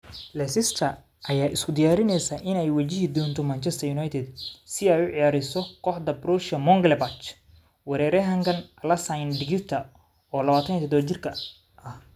Leicester ayaa isku diyaarineysa inay wajihi doonto Manchester United si ay u ceyriso kooxda Borussia Monchengladbach Weeraryahanka Alassane Digirta, oo 27 jir ah.